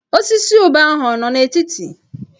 Osisi ube ahụ ọ nọ n'etiti?